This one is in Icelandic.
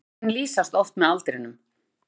Dýrin lýsast oft með aldrinum.